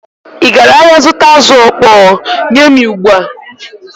Ị gara ahịa zụta azụ̀ ọkpọọ? Nye m ya ugbu a!